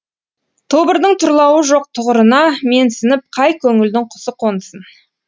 тобырдың тұрлауы жоқ тұғырына менсініп қай көңілдің құсы қонсын